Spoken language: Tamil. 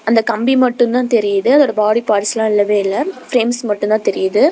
அந்த கம்பி மட்டும் தான் தெரியுது அதோட பாடி பார்ட்ஸ் லாம் இல்லவே இல்ல பிரிண்ட்ஸ் மட்டும் தான் தெரியுது.